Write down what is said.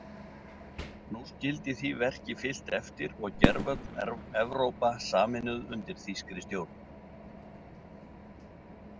Nú skyldi því verki fylgt eftir og gervöll Evrópa sameinuð undir þýskri stjórn.